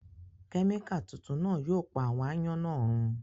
Kẹmika tuntun náa yóò pa àwọn àayan náa run